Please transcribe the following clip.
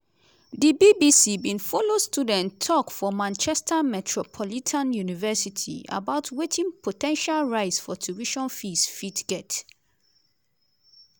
di bbc bin follow student tok for manchester metropolitan university about wetin po ten tial rise for tuition fees fit get.